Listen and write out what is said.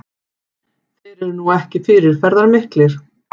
Þeir eru nú ekki fyrirferðarmiklir